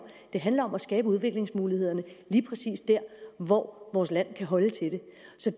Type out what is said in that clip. det handler om at skabe udviklingsmulighederne lige præcis der hvor vores land kan holde til det